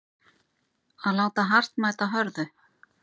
Að láta hart mæta hörðu